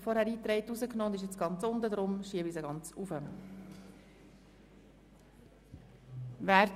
Ich bitte Sie, unseren Anträgen zuzustimmen.